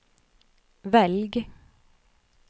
velg